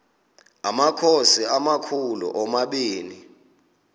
amakhosi amakhulu omabini